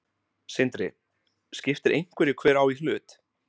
Sindri: Skiptir einhverju hver á í hlut?